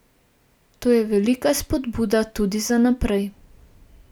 To je velika spodbuda tudi za naprej.